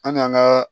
An k'an ka